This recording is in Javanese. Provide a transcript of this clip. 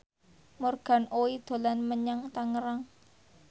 Morgan Oey dolan menyang Tangerang